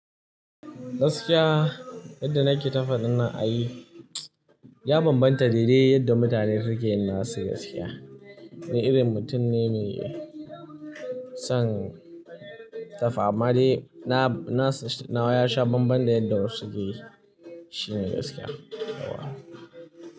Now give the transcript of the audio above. Gaskiya yadda nake ta faɗin nan a yi, ya bambanta daidai yadda mutane suke yana sika gaskiya. Ni irin mutum ne mai son ta fama dai na, na nawa ya sha bambam da yadda wasu suke shirin gaskiya.